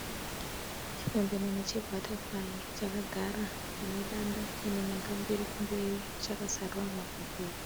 Chipembenene chebhatafurayi chakagara pane danda chiine nyanga mbiri kumberi chakazarura mapapiro.